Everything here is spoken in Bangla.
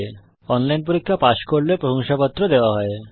যারা অনলাইন পরীক্ষা পাস করে তাদের প্রশংসাপত্র দেওয়া হয়